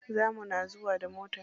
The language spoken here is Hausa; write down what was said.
Za muna zuwa da mota.